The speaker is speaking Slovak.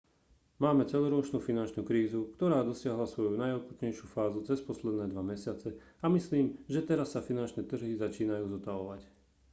máme celoročnú finančnú krízu ktorá dosiahla svoju najakútnejšiu fázu cez posledné dva mesiace a myslím že teraz sa finančné trhy začínajú zotavovať